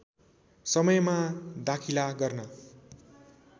समयमा दाखिला गर्न